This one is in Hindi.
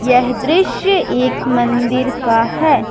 यह दृश्य एक मंदिर का है।